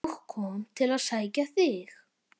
og kom til að sækja þig.